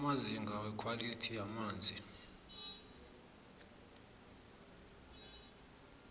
amazinga wekhwalithi yamanzi